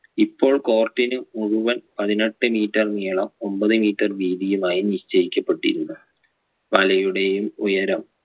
ഇപ്പോൾ court നു മുഴുവൻ പതിനെട്ട് metre നീളം ഒമ്പത് metre വീതിയുമായി നിശ്ചയിക്കപ്പെട്ടിരുന്നെ വലയുടെയും ഉയരം